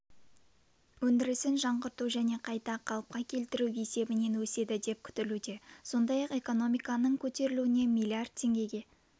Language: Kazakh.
өндірісін жаңғырту және қайта қалыпқа келтіру есебінен өседі деп күтілуде сондай-ақ экономиканың көтерілуіне миллиард теңгеге